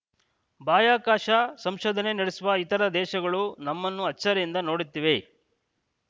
ಬಾಯಕಾಶ ಸಂಶೋಧನೆ ನಡೆಸುವ ಇತರ ದೇಶಗಳು ನಮ್ಮನ್ನು ಅಚ್ಚರಿಯಿಂದ ನೋಡುತ್ತಿವೆ